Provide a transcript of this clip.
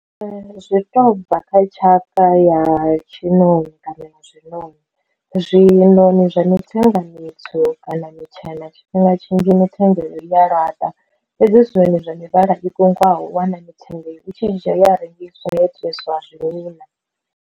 Zwi to bva kha tshaka ya tshinoni kana ya zwinoni, zwinoni zwa mithenga mitswu kana mitshena tshifhinga tshinzhi mithenga ya laṱa, fhedzi zwinoni zwa mivhala i konḓaho u wana mitenga i tshi dzhia ya rengiswa ya itiswa zwi .